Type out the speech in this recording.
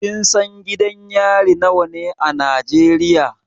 Kin san gidan yari nawa ne a Najeriya?